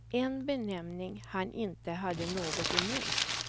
En benämning han inte hade något emot.